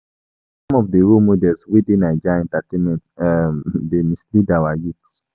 Some of di role models wey dey Naija entertainment um dey mislead our youths.